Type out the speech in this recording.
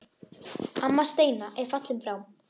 Amma Steina er fallin frá.